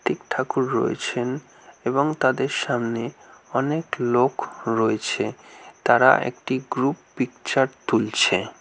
কার্ত্তিক ঠাকুর রয়েছেন এবং তাদের সামনে অনেক লোক রয়েছে তারা একটি গ্রুপ পিকচার তুলছে।